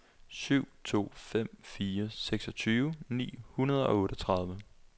syv to fem fire seksogtyve ni hundrede og otteogtredive